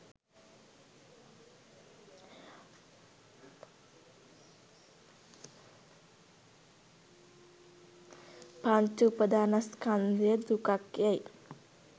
පංච උපාදානස්ඛන්ධය දුකක් යැයි